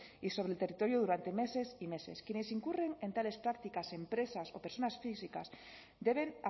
y sobre el territorio durante meses y meses quienes incurren en tales prácticas empresas o personas físicas deben